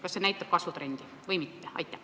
Kas siin on kasvutrendi näha või mitte?